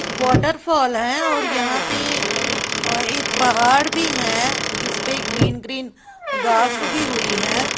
Waterfall है और यहां पे और एक पहाड़ भी हैं जिस पे ग्रीन ग्रीन घास उगी हुई हैं।